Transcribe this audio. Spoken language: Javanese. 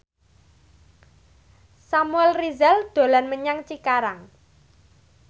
Samuel Rizal dolan menyang Cikarang